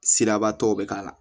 Siraba tɔw bɛ k'a la